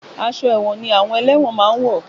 Aṣọ ẹ̀wọ̀n ni àwọn ẹlẹ́wọ̀n máa ń wọ̀.